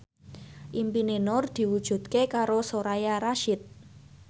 impine Nur diwujudke karo Soraya Rasyid